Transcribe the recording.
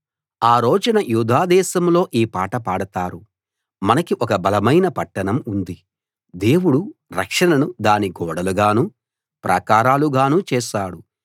ఆ రోజున యూదా దేశంలో ఈ పాట పాడతారు మనకి ఒక బలమైన పట్టణం ఉంది దేవుడు రక్షణను దాని గోడలుగానూ ప్రాకారాలుగానూ చేశాడు